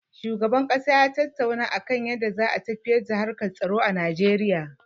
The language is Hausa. Shugaban ƙasa ya tattauna da a kan yadda za a tafiyar da harkar tsaro a Najeriya.